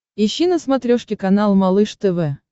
ищи на смотрешке канал малыш тв